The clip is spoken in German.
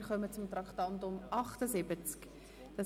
Wir kommen zum Traktandum 78.